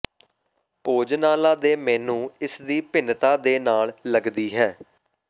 ਭੋਜਨਾਲਾ ਦੇ ਮੇਨੂ ਇਸ ਦੀ ਭਿੰਨਤਾ ਦੇ ਨਾਲ ਲੱਗਦੀ ਹੈ